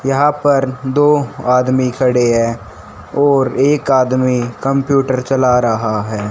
यहां पर दो आदमी खड़े हैं और एक आदमी कंप्यूटर चला रहा है।